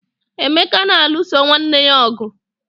emeka na-alụso nwanne ya ọgụ